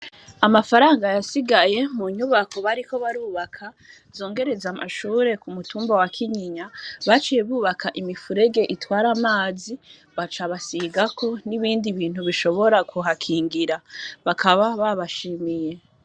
Amafaranga yasigaye mu nyubako bariko barubaka zongereza amashuri ku mutumba wa Kinyinya baciye bubaka imifurege itwara amazi baca basigako n'ibindi bintu bishobora kuha kingira bakaba baba shimiye.